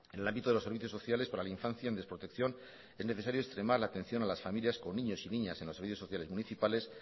en el ámbito de los servicios sociales para la infancia en desprotección es necesario extremar la atención a las familias con niños y niñas en los servicios sociales municipales